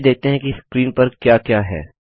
चलिए देखते हैं कि स्क्रीन पर क्या क्या है